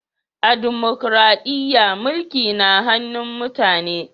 A dimukraɗiya, mulki na hannun mutane ne.